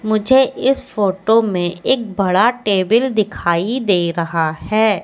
मुझे इस फोटो में एक बड़ा टेबिल दिखाई दे रहा है।